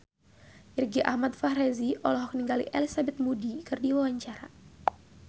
Irgi Ahmad Fahrezi olohok ningali Elizabeth Moody keur diwawancara